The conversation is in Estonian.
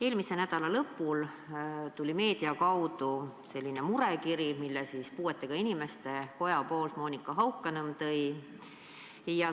Eelmise nädala lõpul tuli meedia kaudu murekiri, mille tõi puuetega inimeste koja poolt välja Monika Haukanõmm.